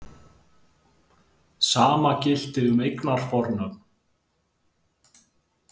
Sama gilti um eignarfornöfn.